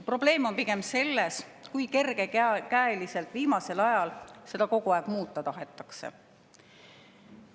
Probleem on pigem selles, kui kergekäeliselt viimasel ajal seda kogu aeg muuta on tahetud.